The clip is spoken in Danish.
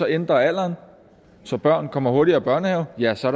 ændrer alderen så børn kommer hurtigere i børnehave ja så